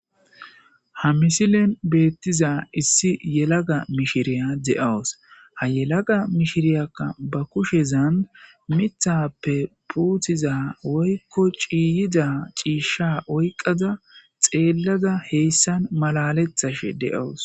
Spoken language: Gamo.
ha misilen beettiza issi yelaga mishiriya de'awus ha yelaga mishiriyakka ba kushezaan mithappe puuthiza woykko ciiyida ciishsha oyqada xeellada heyssan malalethashe de'awus